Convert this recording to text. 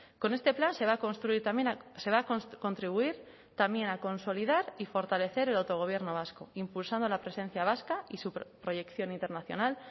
con este plan se va a construir también se va a contribuir también a consolidar y fortalecer el autogobierno vasco impulsando la presencia vasca y su proyección internacional